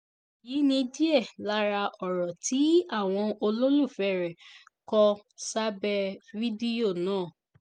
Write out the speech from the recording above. èyí ni díẹ̀ lára ọ̀rọ̀ tí àwọn olólùfẹ́ rẹ̀ kò sábẹ́ fídíò náà